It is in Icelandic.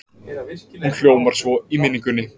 Hún hljómar svo í minningunni